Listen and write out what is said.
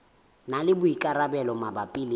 na le boikarabelo mabapi le